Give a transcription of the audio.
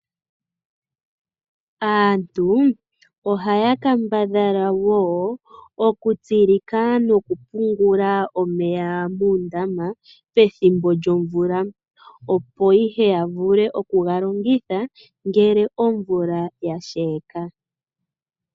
Aantu ohaya kambadhala wo okutsilika nokupunguoa omeya muundama opo ihe ya vule okuga longitha ngele omvula yasheka.